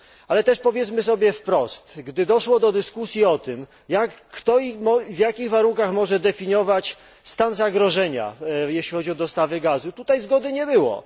Ale też powiedzmy sobie wprost, gdy doszło do dyskusji o tym, kto i w jakich warunkach może definiować stan zagrożenia, jeśli chodzi o dostawy gazu, tutaj zgody nie było.